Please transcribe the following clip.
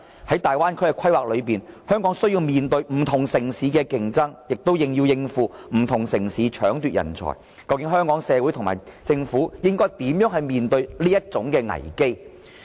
在大灣區的規劃中，香港需要面對不同城市的競爭，亦要應付不同城市搶奪人才的挑戰，究竟香港社會和政府如何面對這危機呢？